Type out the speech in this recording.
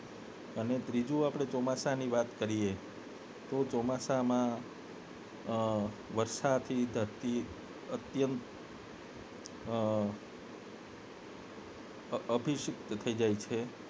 અને ત્રીજું આપને ચોમાસાની વાત કરીએ તો ચોમાસામાં વરસાદથી ધરતી અત્યંત અ અભિસતક થી જાય છે